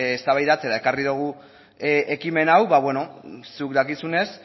eztabaidatzera ekarri dugu ekimen hau ba beno zuk dakizunez